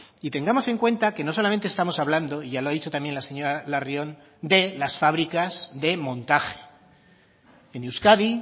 y tengamos en cuenta que no solamente estamos hablando y ya lo ha dicho también las señora larrión de las fábricas de montaje en euskadi